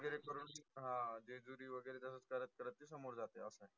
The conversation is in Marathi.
जेजुरी वगैरे तसच करत करत ती समोर जाते. असे